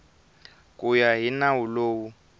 ku ya hi nawu lowu